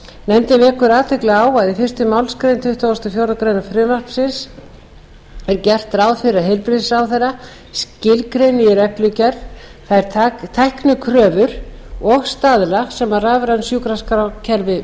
nefndin vekur athygli á að í fyrstu málsgrein tuttugustu og fjórðu grein frumvarpsins er gert ráð fyrir að heilbrigðisráðherra skilgreini í reglugerð þær tæknikröfur og staðla sem rafræn sjúkraskrárkerfi